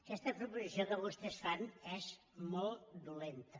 aquesta proposició que vostès fan és molt dolenta